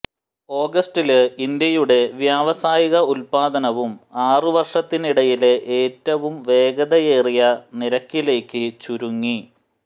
ഓഗസ്റ്റില് ഇന്ത്യയുടെ വ്യാവസായിക ഉല്പാദനവും ആറു വര്ഷത്തിനിടയിലെ ഏറ്റവും വേഗതയേറിയ നിരക്കിലേക്ക് ചുരുങ്ങി